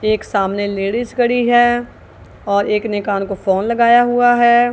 एक सामने लेडिस खड़ी है और एक ने कान को फोन लगाया हुआ है।